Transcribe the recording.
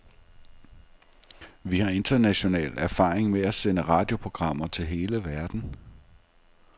Vi har international erfaring med at sende radioprogrammer til hele verden.